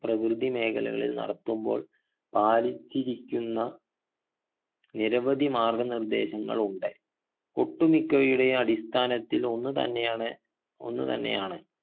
പ്രകൃതി മേഖലകളിൽ നടത്തുമ്പോൾ പാലിച്ചിരിക്കുന്ന നിരവധി മാർഗ്ഗനിർദേശങ്ങളുണ്ട് ഒട്ടുമിക്കവയുടെയും അടിസ്ഥാനത്തിൽ ഒന്ന് തന്നെയാണ് ഒന്ന് തന്നെയാണ്